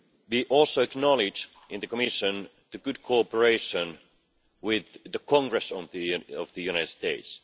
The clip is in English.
We also acknowledge in the Commission the good cooperation with the Congress of the United States.